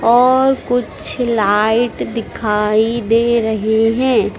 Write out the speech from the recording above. और कुछ लाइट दिखाई दे रहे है।